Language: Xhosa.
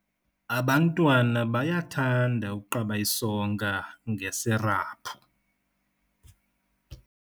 Abantwana bayathanda ukuqaba isonka ngesiraphu.